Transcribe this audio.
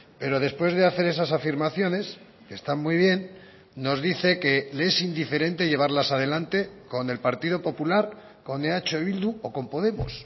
pero después de hacer esas afirmaciones que están muy bien nos dice que le es indiferente llevarlas a delante con el partido popular con eh bildu o con podemos